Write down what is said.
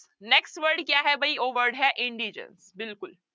Next word ਕਿਆ ਹੈ ਬਈ ਉਹ word ਹੈ indigence ਬਿਲਕੁਲ।